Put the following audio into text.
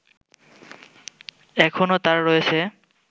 এখনো তার রয়েছে